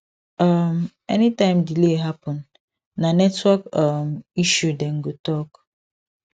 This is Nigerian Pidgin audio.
um anytime delay happen na network um issue dem go talk